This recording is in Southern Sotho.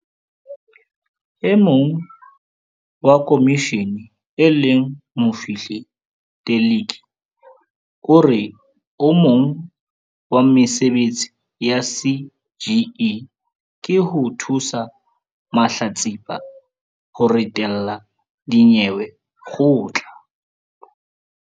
E mong wa khomishene e leng Mofihli Teleki o re o mong wa mesebetsi ya CGE ke ho thusa mahlatsipa ho ritela dinyewe kgotla.